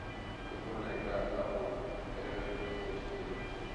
футбольная игра апл эвертон против ливерпуль